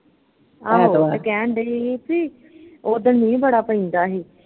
ਆਹੋ ਕਹਿਣ ਢਈ ਬਈ ਉੱਦਨ ਮੀਂਹ ਬੜਾ ਪੈਂਦਾ ਹੀ